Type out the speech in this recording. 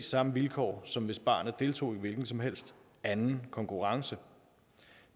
samme vilkår som hvis barnet deltog i en hvilken som helst anden konkurrence